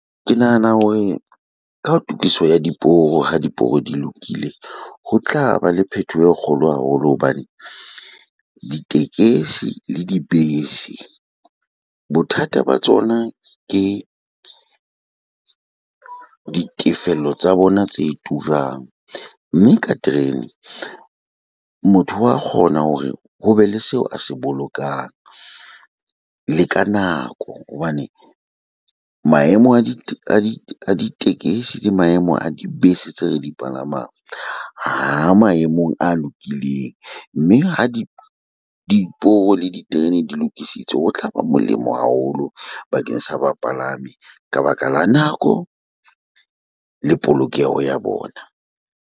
Ke nahana hore ka tokiso ya diporo ha diporo di lokile, ho tla ba le phetoho e kgolo haholo hobane ditekesi le dibese bothata ba tsona ke ditefello tsa bona tse turang. Mme ka terene motho wa kgona hore ho be le seo a se bolokang le ka nako. Hobane maemo a di tekesi, di maemo a dibese tse re di palamang ha maemong a lokileng mme ha di dporo le diterene di lokisitswe ho tla ba molemo haholo bakeng sa bapalami ka baka la nako le polokeho ya bona.